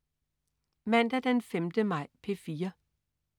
Mandag den 5. maj - P4: